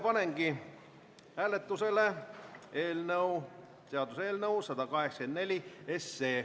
Panengi hääletusele seaduseelnõu 184.